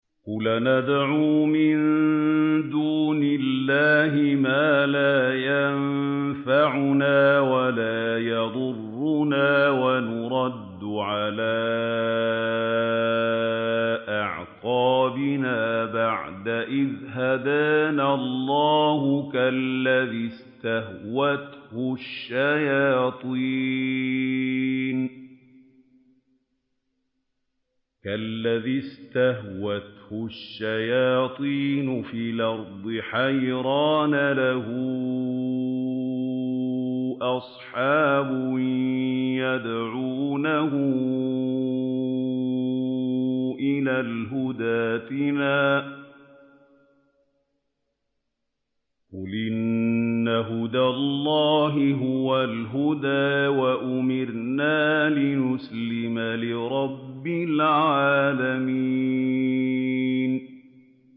قُلْ أَنَدْعُو مِن دُونِ اللَّهِ مَا لَا يَنفَعُنَا وَلَا يَضُرُّنَا وَنُرَدُّ عَلَىٰ أَعْقَابِنَا بَعْدَ إِذْ هَدَانَا اللَّهُ كَالَّذِي اسْتَهْوَتْهُ الشَّيَاطِينُ فِي الْأَرْضِ حَيْرَانَ لَهُ أَصْحَابٌ يَدْعُونَهُ إِلَى الْهُدَى ائْتِنَا ۗ قُلْ إِنَّ هُدَى اللَّهِ هُوَ الْهُدَىٰ ۖ وَأُمِرْنَا لِنُسْلِمَ لِرَبِّ الْعَالَمِينَ